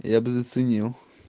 я бы заценил